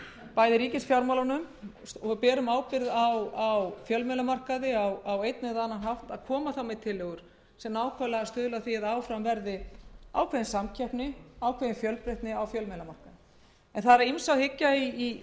bæði ríkisfjármálunum og berum ábyrgð á fjölmiðlamarkaði á einn eða annan hátt að koma með tillögur sem stuðla að því að áfram verði ákveðin samkeppni og fjölbreytni á fjölmiðlamarkaði það er að ýmsu að hyggja í